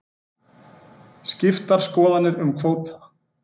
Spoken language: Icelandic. Skiptar skoðanir um kvóta